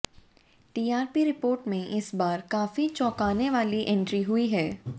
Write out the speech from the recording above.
TRP report में इस बार काफी चौंकाने वाली एंट्री हुई है